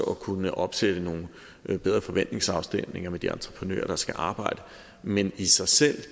kunne opsætte nogle bedre forventningsafstemninger med de entreprenører der skal arbejde men i sig selv